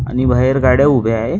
आणि बाहेर गाड्या उभे आहेत.